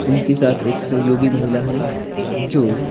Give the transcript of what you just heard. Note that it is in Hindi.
उनके साथ एक सहयोगी महिला है जो--